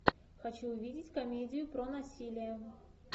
хочу увидеть комедию про насилие